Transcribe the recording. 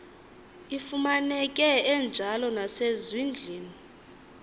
ifumaneke enjalo nasezindlwini